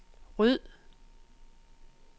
ryd